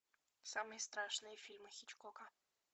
самые страшные фильмы хичкока